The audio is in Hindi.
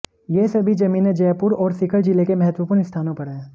ये सभी जमीनें जयपुर और सीकर जिले के महत्वपूर्ण स्थानों पर है